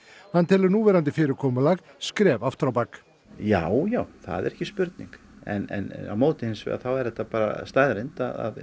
hann telur núverandi fyrirkomulag skref aftur á bak já já það er ekki spurning en á móti þá er þetta bara staðreynd